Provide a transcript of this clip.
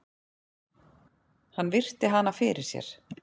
Hann virti hana fyrir sér.